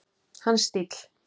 Hans stíll.